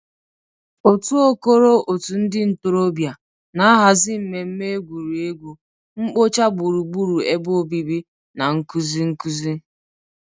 Otu "Okoro Òtù Ndị Ntorobịa" na-ahazi mmemme egwuregwu, mkpocha gburugburu ebe obibi, na nkuzi nkuzi.